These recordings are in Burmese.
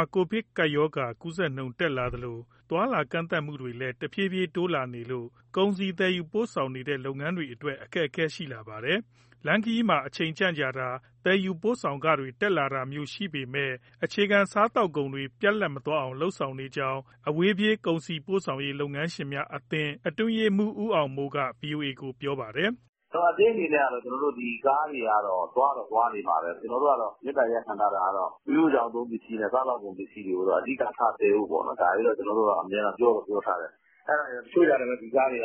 ာ ကိုဗစ်ရောဂါကူးစက်နှုန်း တက်လာသလို သွားလာကန့်သတ်မှုတွေလည်း တဖြည်းဖြည်းတိုးလာနေလို့ ကုန်စည်သယ်ယူ ပို့ဆောင်နေတဲ့ လုပ်ငန်းတွေအတွက် အခက်အခဲတွေ ရှိလာပါတယ်။ လမ်းခရီးမှာ အချိန်ကြန့်ကြာတာ၊ သယ်ယူပို့ဆောင်ခတွေ တက်လာတာမျိုးရှိပေမဲ့ အခြေခံစားသောက်ကုန်တွေ ပြတ်လပ်မသွားအောင် လုပ်ဆောင်နေကြောင်း အဝေးပြေး ကုန်စည်ပို့ဆောင်ရေး လုပ်ငန်းရှင်များအသင်း အတွင်းရေးမှူး ဦးအောင်မိုးက ဗွီအိုအေကို ပြောပါတယ်။ “ အသင်းအနေနဲ့ကတော့ ကျနော်တို့ ဒီကားတွေကတော့ သွားတော့ သွားနေမှာပဲ။ ကျနော်တို့က မေတ္တာရပ်ခံထားတာက မီးဖိုချောင်သုံး ပစ္စည်းနဲ့ စားသောက်ကုန် ပစ္စည်းတွေကိုတော့ အဓိကထားပြီး သယ်ဖို့ပေါ့နော်။ ဒါတွေကို အမြဲတမ်းပြောတော့ ပြောထားတယ်။ တချို့ကျတော့လည်း ဒီကားတွေက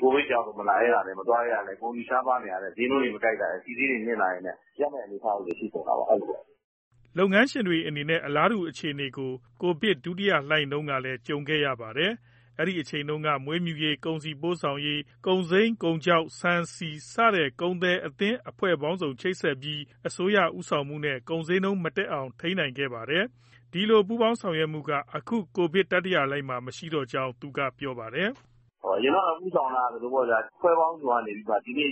ကိုဗစ်ကြောင့် မလာရဲတာနဲ့ မသွားရဲတာနဲ့ ကုန်စည်ရှားပါးနေတာနဲ့ ဈေးနှုန်းတွေ မကိုက်တာရယ် ဆီဈေးတွေ မြင့်တာရယ်နဲ့ ရပ်မယ့်အနေအထားကို ဖြစ်ကုန်တာပေါ့။” လုပ်ငန်းရှင်တွေအနေနဲ့ အလားတူအခြေအနေကို ကိုဗစ်ဒုတိယလှိုင်းတုန်းကလည်း ကြုံခဲ့ရပါတယ်။ အဲဒီအချိန်က မွေးမြူရေး၊ ကုန်စည်ပို့ဆောင်ရေး၊ ကုန်စိမ်း၊ ကုန်ခြောက်၊ ဆန်၊ ဆီ စတဲ့ ကုန်သည်အသင်း အဖွဲ့ပေါင်းစုံ ချိတ်ဆက်ပြီး အစိုးရဦးဆောင်မှုနဲ့ ကုန်ဈေးနှုန်းမတက်အောင် ထိန်းခဲ့ကြပါတယ်။ ဒီလိုပူးပေါင်းဆောင်ရွက်မှုက အခု ကိုဗစ်တတိယလှိုင်းမှာ မရှိတော့ကြောင်း သူကပြောပါတယ်။ “ အရင်တုန်းက ဦးဆောင်တာ ဒီလိုပေါ့ဗျာ အဖွဲ့ပေါင်းစုံကနေ ဒီကနေ့ ဆီဘယ်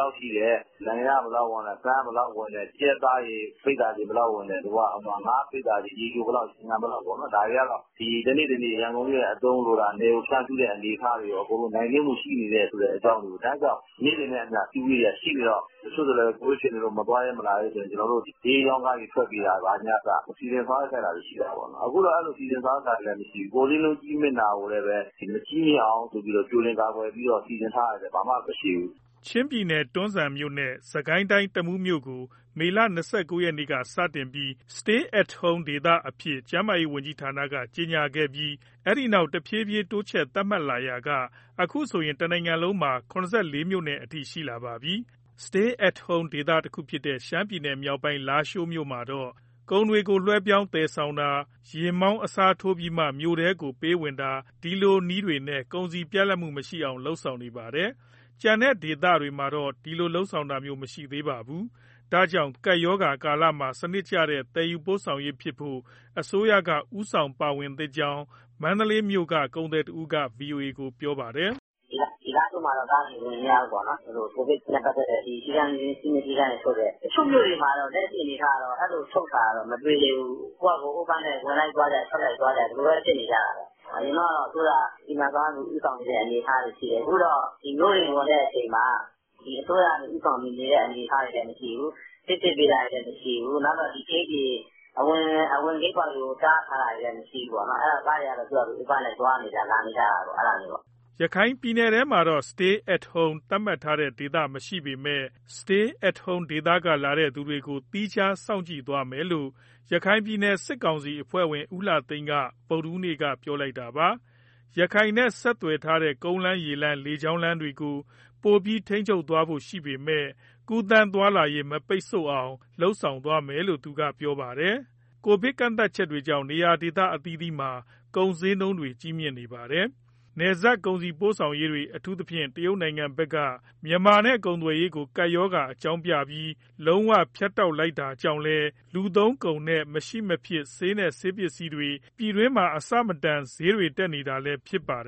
လောက်ရှိတယ်၊ နိုင်ငံခြားက ဘယ်လောက်ဝင်တယ်။ ဆန်က ဘယ်လောက်ဝင်တယ်၊ ကြက်သားပိဿာချိန် ဘယ်လောက်ဝင်တယ်၊ ငါးပိဿာချိန် ရေချိုဘယ်လောက် ရေငန်ဘယ်လောက်၊ ဒါတွေက တနေ့တနေ့ ရန်ကုန်မြို့ရဲ့ အသုံးလိုတာ၊ နယ်ကို ဖြန့်ဖြူးတဲ့အနေအထားတွေ အကုန်လုံးနိုင်နင်းမှု ရှိနေတဲ့အကြောင်းတွေကို နေ့စဉ်နဲ့အမျှ အစည်းအဝေးတွေက ရှိနေတော့ တချို့ဆိုရင် ကိုဗစ်ဖြစ်နေလို့ မသွားရဲ၊ မလာရဲရင် ကျနော်တို့ ဈေးအရောင်းကားတွေ ထွက်ပေးတာကအစ စီစဉ်ဆောင်ရွက်ခဲ့တာတွေ ရှိတာပေါ့။ အခုတော့ အဲဒီလို စီစဉ်ဆောင်ရွက်တာလည်း မရှိဘူး။ ကုန်ဈေးနှုန်း ကြီးမြင့်တာကိုလည်း မကြီးမြင့်အောင်ဆိုပြီး ကြိုတင်ကာကွယ်ပြီး စီစဉ်ထားတာတွေလည်း ဘာမှမရှိဘူး။” ချင်းပြည်နယ်၊ တွန်းဇံနဲ့ စစ်ကိုင်းတိုင်း၊ တမူးမြို့နယ်ကို မေလ ၂၉ ရက်ကစတင်ပြီး Stay at Home ဒေသအဖြစ် ကျန်းမာရေးဝန်ကြီးဌာနက ကြေညာခဲ့ပြီး အဲဒီနောက် တဖြည်းဖြည်းတိုးချဲ့ သတ်မှတ်လာရာက အခုဆိုရင် တနိုင်ငံလုံးမှာ ၇၄ မြို့နယ်အထိ ရှိလာပါပြီ။ Stay at Home ဒေသတခုဖြစ်တဲ့ ရှမ်းပြည်နယ်မြောက်ပိုင်း လားရှိုးမြို့မှာတော့ ကုန်တွေကို လွှဲပြောင်းသယ်ဆောင်တာ၊ ယာဉ်မောင်းအစားထိုးပြီးမှ မြို့ထဲကိုပေးဝင်တာ ဒီလိုနည်းတွေနဲ့ ကုန်စည်ပြတ်လပ်မှုမရှိအောင် လုပ်ဆောင်နေပါတယ်။ ကျန်တဲ့ဒေသတွေမှာတော့ ဒီလိုလုပ်တာမျိုး မရှိသေးပါဘူး။ ဒါကြောင့် ကပ်ရောဂါကာလမှာ စနစ်ကျတဲ့ သယ်ယူပို့ဆောင်ရေးဖြစ်ဖို့ အစိုးရက ဦးဆောင်ပါဝင်သင့်ကြောင်း မန္တလေးမြို့က ကုန်သည်တဦးက ဗွီအိုအေကို ပြောပါတယ်။ “ လားရှိုးမှာတော့ ကားတွေဝင်မရဘူးပေါ့နော် ဒီလိုကိုဗစ်နဲ့ပတ်သက်တဲ့ စည်းမျဉ်းစည်းကမ်းတွေ ထုတ်တယ်။ တချို့မြို့တွေမှာတော့ လက်ရှိအနေအထား အရ အဲလိုထုတ်တာတော့ မတွေ့သေးဘူး။ ကိုယ့်ဖာသာ open ဝင်လိုက်ကြ၊ ထွက်လိုက်ကြ၊ ဒီလိုပဲဖြစ်နေကြတာပဲ။ အရင်တုန်းကတော့ အစိုးရက စီမံ၊ ဆောင်ရွက်ပြီး ဦးဆောင်နေတဲ့ အနေအထားတွေရှိတယ်။ အခုတော့ မြို့တွေဝင်တဲ့အချိန်မှာ အစိုးရက ဦးဆောင်တဲ့အနေအထားတွေ မရှိဘူး၊ ဆေးစစ် ပေးတာတွေမရှိဘူး၊ အဝင်ဂိတ်ပေါက်တွေကို တားထားတာတွေ မရှိဘူးပေါ့။ အဲဒီတော့ ကားတွေက သူ့ဖာသူ open လိုက် သွားနေကြ၊ လာနေကြတာပါ့။” ရခိုင်ပြည်နယ်ထဲမှာတော့ Stay at Home သတ်မှတ်ထားတဲ့ဒေသ မရှိသေးပေမဲ့ Stay at Home ဒေသကလာတဲ့ သူတွေကိုတော့ သီးခြားစောင့်ကြည့် သွားမယ်လို့ ရခိုင်ပြည်နယ် စစ်ကောင်စီအဖွဲ့ဝင် ဦးလှသိန်းက ဗုဒ္ဓဟူးနေ့က ပြောလိုက်တာပါ။ ရခိုင်နဲ့ ဆက်သွယ်ထားတဲ့ ကုန်းလမ်း၊ ရေလမ်း၊ လေကြောင်းလမ်းတွေကို ပိုပြီးထိန်းချုပ်သွားဖို့ရှိပေမဲ့ ကူးသန်းသွားလာရေး မပိတ်အောင် လုပ်ဆောင်သွားမယ်လို့ သူကပြောခဲ့တာပါ။ ကိုဗစ်ကန့်သတ်ချက်တွေကြောင့် နေရာဒေသအသီးသီးမှာ ကုန်ဈေးနှုန်းတွေ ကြီးမြင့်နေပါတယ်။ နယ်စပ်ကုန်စည်ပို့ဆောင်ရေးတွေ အထူးသဖြင့် တရုတ်နိုင်ငံဘက်က မြန်မာနဲ့ ကုန်သွယ်ရေးကို ကပ်ရောဂါအကြောင်းပြပြီး လုံးဝ ဖြတ်တောက် လိုက်တာကြောင့်လည်း လူသုံးကုန်နဲ့ မရှိမဖြစ် ဆေးနဲ့ဆေးပစ္စည်းတွေ ပြည်တွင်းမှာ အဆမတန် ဈေးတွေတက်နေတာလည်း ဖြစ်ပါတယ်